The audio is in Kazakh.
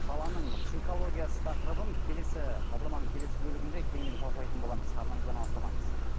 баланың психологиясы тақырыбын келесі бағдарламаның келесі бөлігінде кеңінен талқылайтын боламыз арнамыздан алыстамаңыз